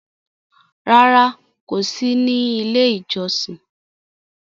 Rárá, kò sí ní Ilé-ìjọsìn.